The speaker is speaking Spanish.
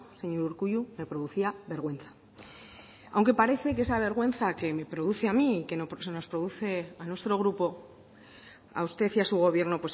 señor urkullu me producía vergüenza aunque parece que esa vergüenza que me produce a mí que nos produce a nuestro grupo a usted y a su gobierno